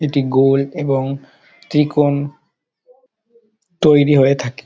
এটি গোল এবং ত্রিকোণ তৈরী হয়ে থাকে।